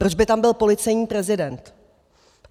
Proč by tam byl policejní prezident?